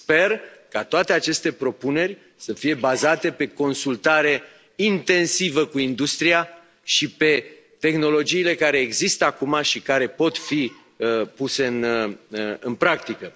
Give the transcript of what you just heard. Sper ca toate aceste propuneri să fie bazate pe o consultare intensivă cu industria și pe tehnologiile care există acum și care pot fi puse în practică.